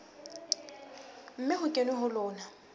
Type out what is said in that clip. mme ho kenwe ho lona